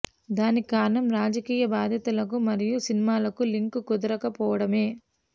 దానికి కారణం రాజకీయ బాద్యతలకు మరియు సినిమాలకు లింకు కుదరక పోవడమే